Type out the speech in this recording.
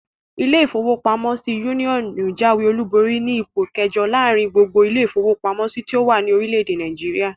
Ilé-ìfowópamọ́sí Union jáwé-olùborí sí ipò ikẹẹ̀jọ láàrin gbogbo ilé-ìfowópamọ́sí tó wà ní orílẹ̀-èdè Nàìjíríà